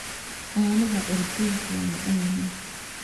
Caanaha curdinku waa macaan yihiin.